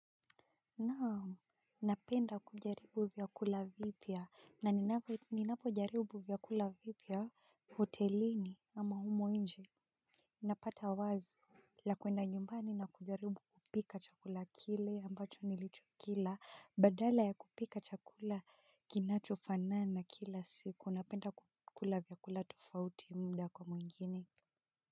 Naam, napenda kujaribu vyakula vipya na ninapo jaribu vyakula vipya hotelini ama humo nje. Napata wazi. La kwenda nyumbani na kujaribu kupika chakula kile ambacho nilicho kila badala ya kupika chakula kinacho fanana kila siku napenda kukula vyakula tofauti mda kwa mwingine.